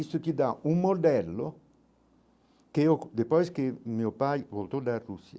Isto te dá um modelo que depois que meu pai voltou da Rússia,